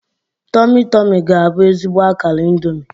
Tomi-Tomi ga-abụ ezigbo akara Indomi.